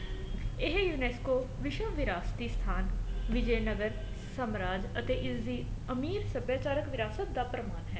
ਇਹ ਯੂਨੇਸਕੋ ਵਿਸ਼ਵ ਵਿਰਾਸਤੀ ਸਥਾਨ ਵਿਜ਼ੇ ਨਗਰ ਸਮਰਾਟ ਅਤੇ ਇਸ ਦੀ ਅਮੀਰ ਸਭਿਆਚਾਰਕ ਵਿਰਾਸਤ ਦਾ ਪ੍ਰਮਾਣ ਹੈ